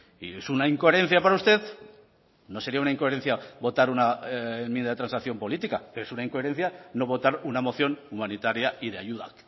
y es una incoherencia para usted no sería una incoherencia votar una enmienda de transacción política es una incoherencia no votar una moción humanitaria y de ayuda